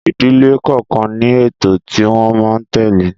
Ìdílé kọọkan ní ètò tí wón máa n tele